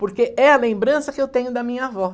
Porque é a lembrança que eu tenho da minha avó.